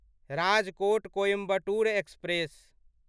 Rajkot Coimbatore express